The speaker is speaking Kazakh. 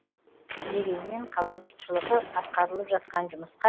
дегенмен қала жұртшылығы атқарылып жатқан жұмысқа